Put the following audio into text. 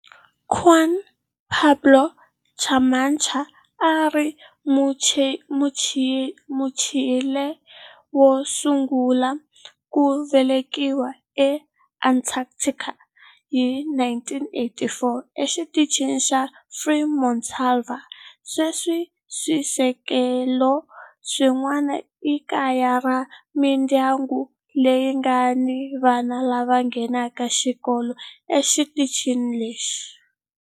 Juan Pablo Camacho a a ri Muchile wo sungula ku velekiwa eAntarctica hi 1984 eXitichini xa Frei Montalva. Sweswi swisekelo swin'wana i kaya ra mindyangu leyi nga ni vana lava nghenaka xikolo exitichini lexi.